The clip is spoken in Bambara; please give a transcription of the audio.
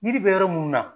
Yiri bɛ yɔrɔ mun na